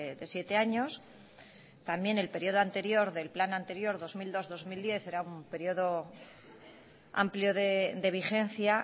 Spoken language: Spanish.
de siete años también en periodo anterior del plan anterior dos mil dos dos mil diez era un periodo amplio de vigencia